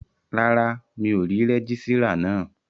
Rárá, mi ò rí rẹ́gísírà náà